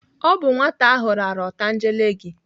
Ọ bụ nwata ahụ rara otangele gị.